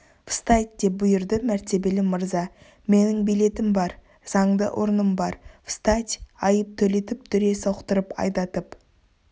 встать деп бұйырды мәртебелі мырза менің билетім бар заңды орным встать айып төлетіп дүре соқтырып айдатып